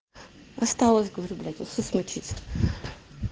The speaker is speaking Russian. осталось говорю блять вот что смутиться